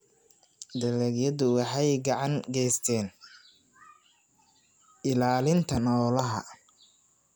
Dalagyadu waxay gacan ka geystaan ??ilaalinta noolaha.